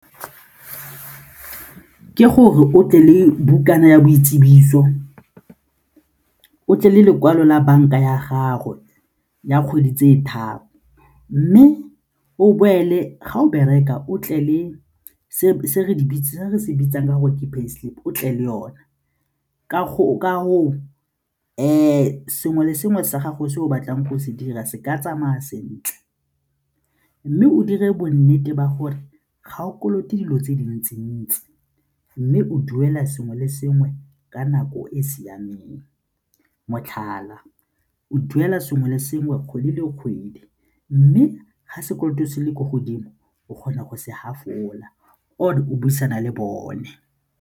Ke gore o tle le bukana ya boitsibiso, o tle le lekwalo la banka ya gago ya kgwedi tse tharo mme o boele ga o bereka o tle le se re se bitsang ka gore ke pay slip o tle le yona ka gore sengwe le sengwe sa gago se o batlang go se dira se ka tsamaya sentle mme o dire bonnete ba gore ga o kolote dilo tse dintsi-ntsi mme o duela sengwe le sengwe ka nako e e siameng motlhala, o duela sengwe le sengwe kgwedi le kgwedi mme ga sekoloto se le ko godimo o kgona go se gafola or o buisana le bone.